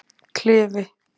Klifi